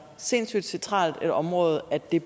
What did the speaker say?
sindssygt centralt et område at det